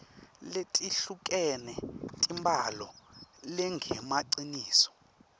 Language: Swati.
letehlukene tembhalo lengemaciniso